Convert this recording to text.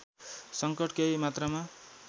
संकट केही मात्रामा